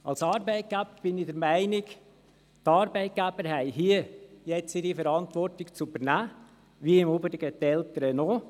Als Arbeitgeber bin ich der Meinung, dass die Arbeitgeber hier ihre Verantwortung zu übernehmen haben wie im Übrigen auch die Eltern.